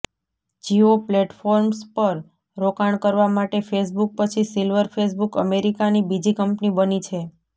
Jio platforms પર રોકાણ કરવા માટે ફેસબુક પછી સિલ્વર ફેસબુક અમેરિકાની બીજી કંપની બની છે